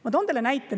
Ma toon teile näite.